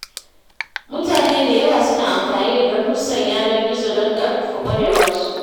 Mutane da yawa suna amfani da darussan yanar gizo don ƙarfafa ƙwarewarsu.